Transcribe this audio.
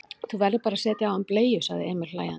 Þú verður bara að setja á hann bleiu, sagði Emil hlæjandi.